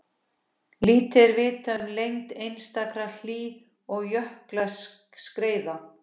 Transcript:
Lítið er vitað um lengd einstakra hlý- og jökulskeiða.